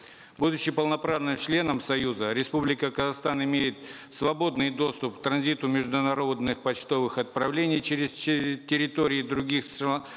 будучи полноправным членом союза республика казахстан имеет свободный доступ к транзиту международных почтовых отправлений и через территории других